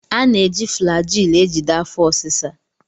A na-eji Flagyl ejide afọ ọsisa.